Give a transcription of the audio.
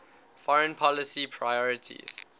foreign policy priorities